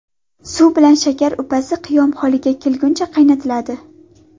Suv bilan shakar upasi qiyom holiga kelguncha qaynatiladi.